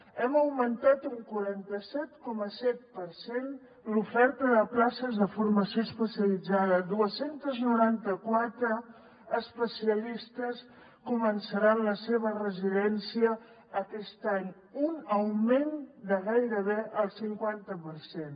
hem augmentat un quaranta set coma set per cent l’oferta de places de formació especialitzada dos cents i noranta quatre especialistes començaran la seva residència aquest any un augment de gairebé el cinquanta per cent